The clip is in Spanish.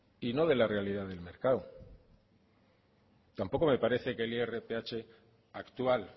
y no de la realidad del mercado tampoco me parece que el irph actual